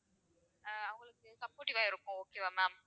அஹ் அவங்களுக்கு supportive வா இருக்கும் okay வா ma'am